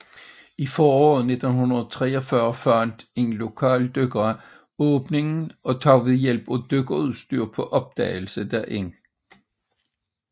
I foråret 1943 fandt en lokal dykker åbningen og tog ved hjælp af dykkerudstyr på opdagelse derind